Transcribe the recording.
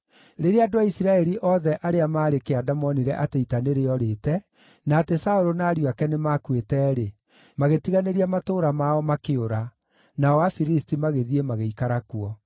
Rĩrĩa andũ a Isiraeli othe arĩa maarĩ kĩanda moonire atĩ ita nĩrĩorĩte, na atĩ Saũlũ na ariũ ake nĩmakuĩte-rĩ, magĩtiganĩria matũũra mao, makĩũra; nao Afilisti magĩthiĩ magĩikara kuo.